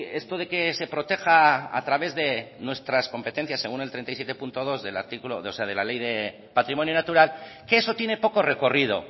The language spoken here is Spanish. esto de que se proteja a través de nuestras competencias según el treinta y siete punto dos de la ley de patrimonio natural que eso tiene poco recorrido